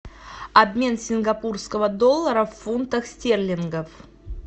обмен сингапурского доллара в фунтах стерлингов